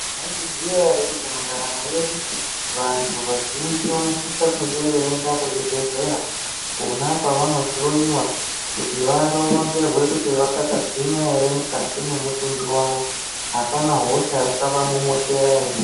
Mwaizviziya ere kuti mundaramo yedu vanthu vazhinji vanosisa kunge veienda kuzvibhedhlera kwona kwavanohloyiwa kuti varonzerwe kuti vakachagwinya ere mukati mwemutumbi wavo hapana hosha yakavamomotera ere.